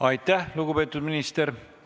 Aitäh, lugupeetud minister!